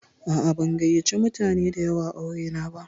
A'a, ban gayyace mutane da yawa aure na ba.